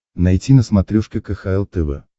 найти на смотрешке кхл тв